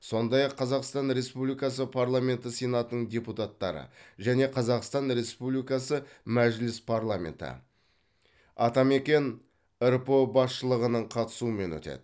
сондай ақ қазақстан республикасы парламенті сенатының депутаттары және қазақстан республикасы мәжіліс парламенті атамекен рпо басшылығының қатысуымен өтеді